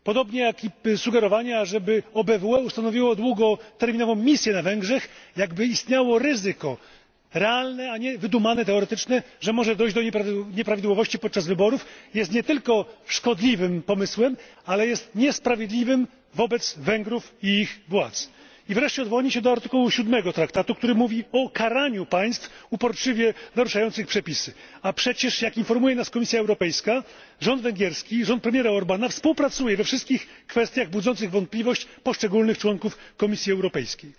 Podobnie jak i sugerowanie, żeby OBWE ustanowiło długoterminową misję na Węgrzech, jakby istniało realne, a nie wydumane, teoretyczne ryzyko, że może dojść do nieprawidłowości podczas wyborów, jest nie tylko szkodliwym pomysłem, ale jest niesprawiedliwe wobec Węgrów i ich władz. Wreszcie odwołanie się do artykułu 7 Traktatu, który mówi o karaniu państw uporczywie naruszających przepisy a przecież, jak informuje nas Komisja Europejska, rząd węgierski, rząd premiera Orbána współpracuje we wszystkich kwestiach budzących wątpliwości poszczególnych członków Komisji Europejskiej.